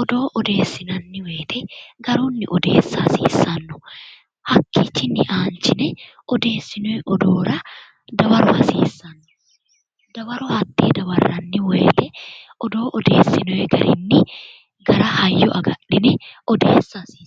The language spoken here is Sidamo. odoo odeessineemmo woyte garunni odeessa hasiisano, hakkichinni ayinchine odeessinoni odoora dawaro hasiisano, dawaro hatte dawarranni woyte odoo odeessinonni garinni hayyo agadhine odeessate.